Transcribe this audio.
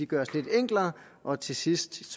gøres lidt enklere og til sidst